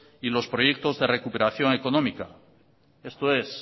y los proyectos de recuperación económica esto es